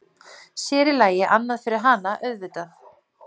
Sérílagi annað fyrir hana, auðvitað.